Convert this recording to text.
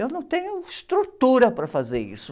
Eu não tenho estrutura para fazer isso.